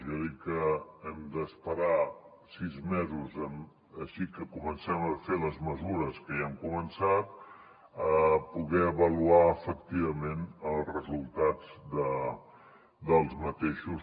jo he dit que hem d’esperar sis mesos així que comencem a fer les mesures que ja hem començat per poder avaluar efectivament els resultats dels mateixos